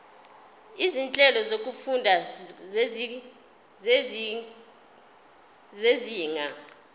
izinhlelo zokufunda zezinga